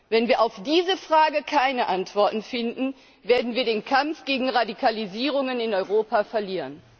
Wenn wir auf diese Frage keine Antworten finden, werden wir den Kampf gegen Radikalisierungen in Europa verlieren.